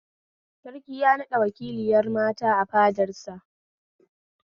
Sarki ya naɓɗa wakiliyar mata a fadar sa